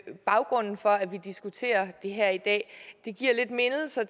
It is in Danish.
baggrunden for at vi diskuterer det her i dag giver mindelser